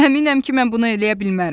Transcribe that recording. Həminəm ki mən bunu eləyə bilmərəm.